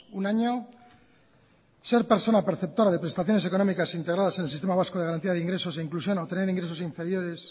un año ser persona perceptora de prestaciones económicas integradas en el sistema vasco de garantía de ingresos e inclusión a obtener ingresos inferiores